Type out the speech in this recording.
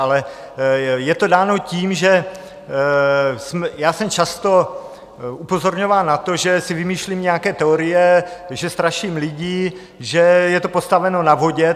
Ale je to dáno tím, že já jsem často upozorňován na to, že si vymýšlím nějaké teorie, že straším lidi, že je to postaveno na vodě.